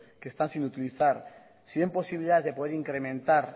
que están sin utilizar si ven posibilidades de poder incrementar